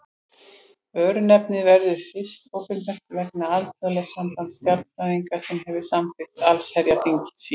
Örnefnið verður fyrst opinbert þegar Alþjóðasamband stjarnfræðinga hefur samþykkt það á allsherjarþingi sínu.